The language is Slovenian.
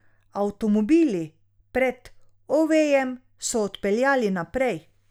Avtomobili pred Ovejem so odpeljali naprej.